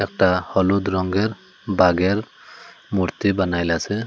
একটা হলুদ রঙের বাঘের মূর্তি বানাইলাসে।